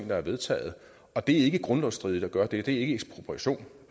der har vedtaget det er ikke grundlovsstridigt at gøre det det er ikke ekspropriation